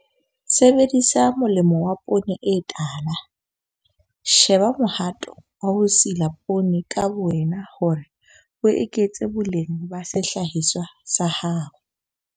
Sebedisa molemo wa poone e tala - sheba mohato wa ho sila poone ka bowena hore o eketse boleng ba sehlahiswa sa hao.